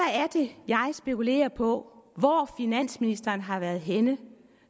det jeg spekulerer på hvor finansministeren har været henne